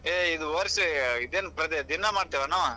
ಏ ಇದ ವಷ೯ ಇದ್ನೇನ ದಿನ್ನಾ ಮಾಡ್ತೇವ ಏನ್ನಾವ್.